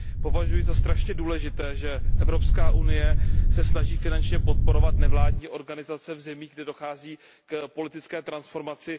Považuji za strašně důležité, že Evropská unie se snaží finančně podporovat nevládní organizace v zemích, kde dochází k politické transformaci.